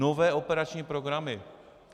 Nové operační programy.